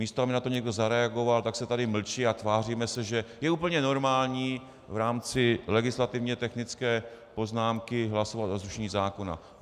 Místo aby na to někdo zareagoval, tak se tady mlčí a tváříme se, že je úplně normální v rámci legislativně technické poznámky hlasovat o zrušení zákona.